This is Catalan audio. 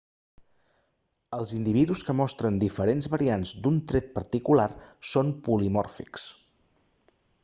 els individus que mostren diferents variants d'un tret particular són polimòrfics